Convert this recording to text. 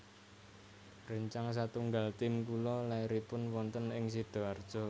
Rencang satunggal tim kula lairipun wonten ing Sidoarjo